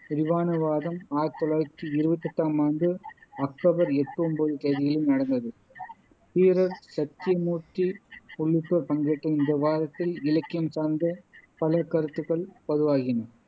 விரிவான விவாதம் ஆயிரத்தி தொள்ளாயிரத்தி இருவத்தி எட்டாமாண்டு அக்டோபர் எட்டு, ஒன்பது தேதிகளில் நடந்தது தீரர் சத்திய மூர்த்தி உள்ளிட்டோர் பங்கேற்ற இந்த விவாதத்தில் இலக்கியம் சார்ந்த பல கருத்துகள் பதிவாகின